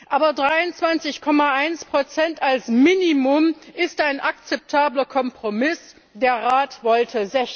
Aber 23,1 als Minimum ist ein akzeptabler Kompromiss, der Rat wollte